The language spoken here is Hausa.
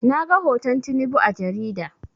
Na ga hoton Tinubu a jarida